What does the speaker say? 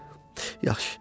Yaxşı, yaxşı.